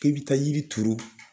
K'i bɛ taa yiri turu